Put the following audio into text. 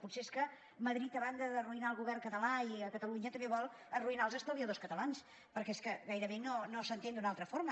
potser és que madrid a banda d’arruïnar el govern català i catalunya també vol arruïnar els estalviadors catalans perquè és que gairebé no s’entén d’una altra forma